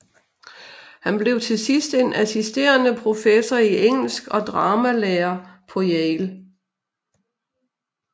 Han blev til sidst en assisterende professor i engelsk og dramalærer på Yale